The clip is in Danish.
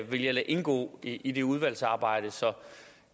vil jeg lade indgå i det udvalgsarbejde så